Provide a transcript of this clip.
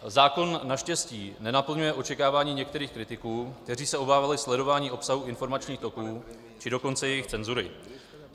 Zákon naštěstí nenaplňuje očekávání některých kritiků, kteří se obávali sledování obsahu informačních toků, či dokonce jejich cenzury.